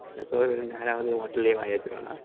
சோறு வேணும்னு நேரமானதும் hotel லயே வாய வெச்சிருவானா